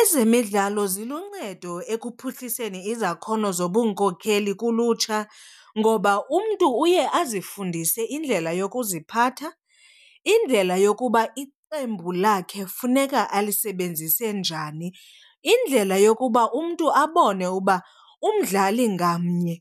Ezemidlalo ziluncedo ekuphuhliseni izakhono zobunkokheli kulutsha ngoba umntu uye azifundise indlela yokuziphatha, indlela yokuba iqembu lakhe funeka alisebenzise njani, indlela yokuba umntu abone uba umdlali ngamnye